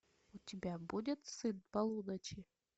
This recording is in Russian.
у тебя будет сын полуночи